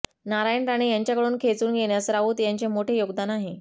नारायण राणे यांच्याकडून खेचून घेण्यास राऊत यांचे मोठे योगदान आहे